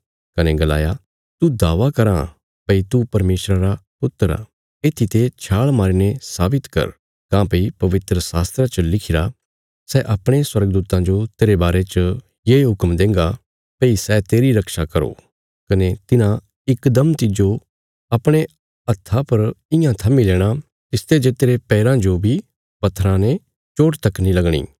कने गलाया तू दावा कराँ भई तू परमेशरा रा पुत्र आ येत्थीते छाल़ मारीने साबित कर काँह्भई पवित्रशास्त्रा च लिखिरा सै अपणे स्वर्गदूतां जो तेरे बारे च ये हुक्म देंगा भई सै तेरी रक्षा करो कने तिन्हां इकदम तिज्जो अपणे हत्था पर इयां थम्मी लेणा तिसते जे तेरे पैराँ जो बी पत्थराँ ते चोट तक नीं लगणी